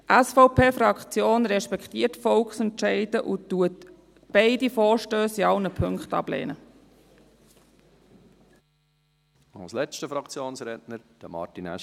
Die SVP-Fraktion respektiert Volksentscheide und lehnt beide Vorstösse in allen Punkten ab.